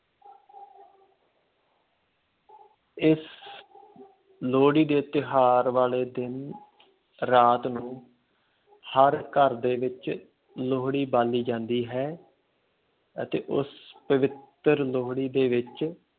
ਇਸ ਲੋਹੜੀ ਦੇ ਤਿਉਹਾਰ ਵਾਲੇ ਦਿਨ ਰਾਤ ਨੂੰ ਹਰ ਘਰ ਦੇ ਵਿੱਚ ਲੋਹੜੀ ਬਾਲੀ ਜਾਂਦੀ ਹੈ ਅਤੇ ਉਸ ਪਵਿੱਤਰ ਲੋਹੜੀ ਦੇ ਵਿੱਚ